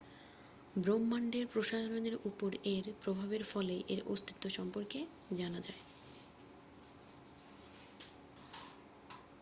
ব্রহ্মান্ডের প্রসারণের উপর এর প্রভাবের ফলেই এর অস্তিত্ব সম্পর্কে জানা যায়